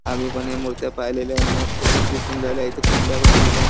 आम्हीपण या मुर्त्या पाहिलेल्या मस्त पैकी दिसून राहिल्या इथे कुंड्या पन ठेवल्या.